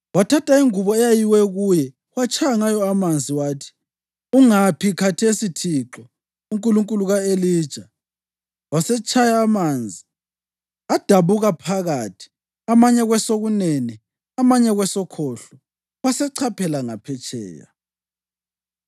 Wathatha ingubo eyayiwe kuye watshaya ngayo amanzi wathi, “Ungaphi khathesi uThixo, uNkulunkulu ka-Elija?” Wasetshaya amanzi, adabuka phakathi amanye kwesokunene amanye kwesokhohlo, wasechaphela ngaphetsheya.